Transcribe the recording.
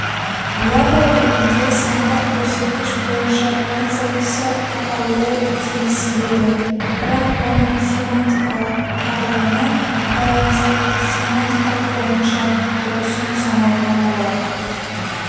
ядро ретінде сандық көрсеткіш бойынша концептісі аталуы тиіс еді бірақ оның семантикалық тарлығына байланысты семантика бойынша дұрысын санауға болады